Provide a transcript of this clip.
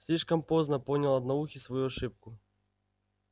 слишком поздно понял одноухий свою ошибку